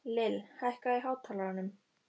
Lill, hækkaðu í hátalaranum.